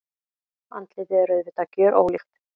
Andlitið er auðvitað gjörólíkt.